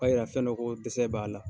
yira fɛn dɔ ko dɛsɛ b'a la.